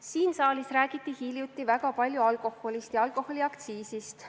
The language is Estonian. Siin saalis räägiti hiljuti väga palju alkoholist ja alkoholiaktsiisist.